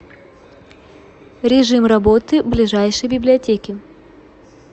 режим работы ближайшей библиотеки